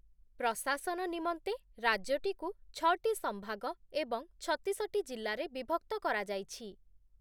ପ୍ରଶାସନ ନିମନ୍ତେ ରାଜ୍ୟଟିକୁ ଛଅଟି ସଂଭାଗ ଏବଂ ଛତିଶଟି ଜିଲ୍ଲାରେ ବିଭକ୍ତ କରାଯାଇଛି ।